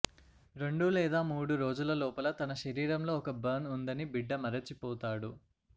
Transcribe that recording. రెండు లేదా మూడు రోజుల లోపల తన శరీరంలో ఒక బర్న్ ఉందని బిడ్డ మరచిపోతాడు